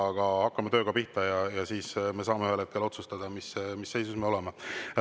Aga hakkame tööga pihta ja eks me siis saame ühel hetkel otsustada, mis seisus me oleme.